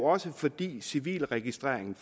også fordi civilregistreringen